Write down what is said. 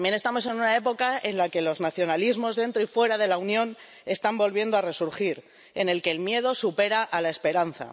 También estamos en una época en la que los nacionalismos dentro y fuera de la Unión están volviendo a resurgir, en la que el miedo supera a la esperanza.